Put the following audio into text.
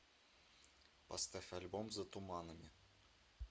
поставь альбом за туманами